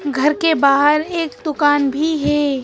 घर के बाहर एक दुकान भी हे ।